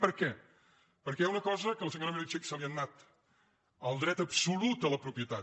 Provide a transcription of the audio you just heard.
per què perquè hi ha una cosa que a la senyora meritxell se li n’ha anat el dret absolut a la propietat